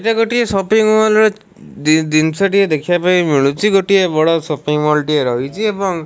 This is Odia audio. ଏଟା ଗୋଟିଏ ସପିଙ୍ଗ ମଲ ର ଦି ଜିନିଷ ଟିଏ ଦେଖିବା ପାଇଁ ମିଳୁଛି ଗୋଟିଏ ବଡ଼ ସପିଙ୍ଗ ମଲ ଟିଏ ରହିଛି ଏବଂ --